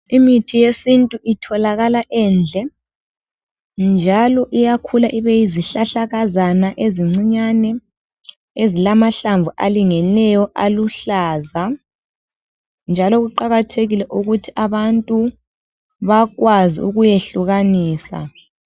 Imithi yesintu itholakala endle njalo iyakhula ibe yizihlahlakazana ezincinyane ezilamahlamvu alingeneyo aluhlaza njalo kuqakathekile ukuthi abantu bakwazi ukuyehlukanisa.